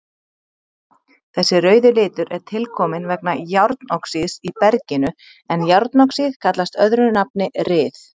Þessi rauði litur er tilkominn vegna járnoxíðs í berginu en járnoxíð kallast öðru nafni ryð.